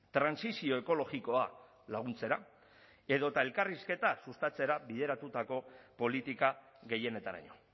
trantsizio ekologikoa laguntzera edota elkarrizketa sustatzera bideratutako politika gehienetaraino